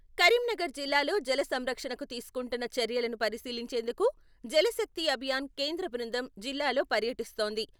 కరీంనగర్ జిల్లాలో జల సంరక్షణకు తీసుకుంటున్న చర్యలను పరిశీలించేందుకు జల శక్తి అభియాన్ కేంద్ర బృందం జిల్లాలో పర్యటిస్తోంది.